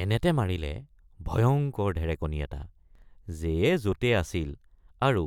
এনেতে মাৰিলে ভয়ঙ্কৰ ঢেৰেকনি এট৷ যেয়ে যতে আছিল আৰু